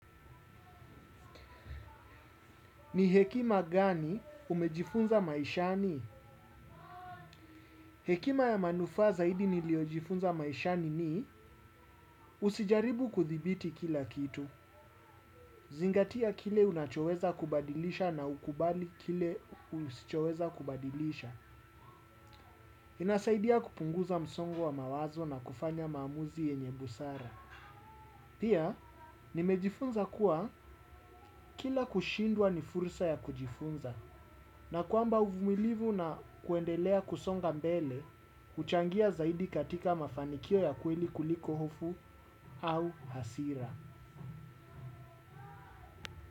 Ni hekima gani umejifunza maishani? Hekima ya manufaa zaidi niliojifunza maishani ni usijaribu kuthibiti kila kitu. Zingatia kile unachoweza kubadilisha na ukubali kile usichoweza kubadilisha. Inasaidia kupunguza msongo wa mawazo na kufanya maamuzi yenye busara. Pia, nimejifunza kuwa kila kushindwa ni fursa ya kujifunza. Na kwamba uvumilivu na kuendelea kusonga mbele, uchangia zaidi katika mafanikio ya kweli kuliko hofu au hasira.